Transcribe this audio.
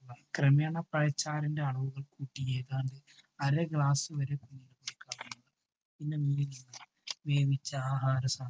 ക്രമേണ പഴച്ചാറിന്റെ അളവ് കൂട്ടി അര glass വരെ കുഞ്ഞിന് കൊടുക്കാവുന്നതാണ്. പിന്നെ കുഞ്ഞിന് വേവിച്ച ആഹാരസാധനങ്ങൾ